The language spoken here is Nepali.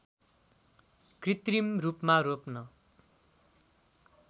कृत्रिम रूपमा रोप्न